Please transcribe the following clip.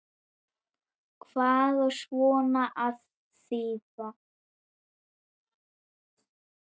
Hvað á svona að þýða